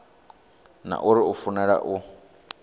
na uri u fanela u